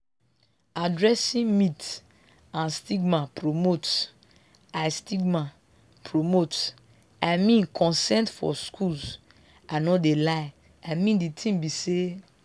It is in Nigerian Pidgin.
addressing myths and stigma promotes i stigma promotes i mean consent for schools i no de lie i mean de tin be say